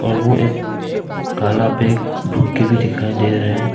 वो एक काला बैग के भी दिखाई दे रहा है।